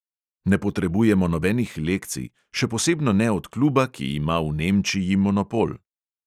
Ne potrebujemo nobenih lekcij, še posebno ne od kluba, ki ima v nemčiji monopol.